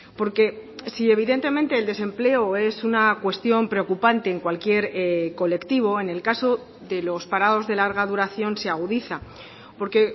porque si evidentemente el desempleo es una cuestión preocupante en cualquier colectivo en el caso de los parados de larga duración se agudiza porque